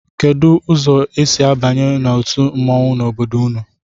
Kedụ ụzọ e si abanye otu mmọnwụ n'obodo unu?